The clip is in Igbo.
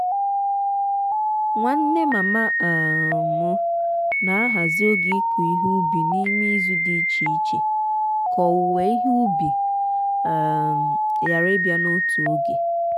nwanne mama um m na-ahazi oge ịkụ ihe ubi n'ime izu dị iche iche ka owuwe ihe ubi um ghara ịbịa n'otu oge.